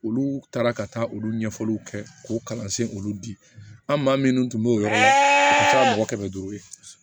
Olu taara ka taa olu ɲɛfɔliw kɛ k'u kalansen olu di an maa minnu tun b'o yɔrɔ la ka taa mɔgɔ kɛmɛ duuru ye